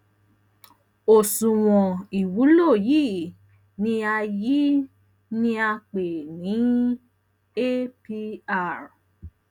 nitorina um elo lowo to ye ki o na lori ile gbigbe um